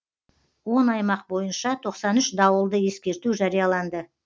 он аймақ бойынша тоқсан үш дауылды ескерту жарияланды